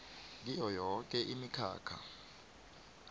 kiyo yoke imikhakha